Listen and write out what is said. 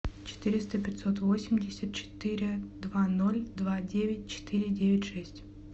четыреста пятьсот восемьдесят четыре два ноль два девять четыре девять шесть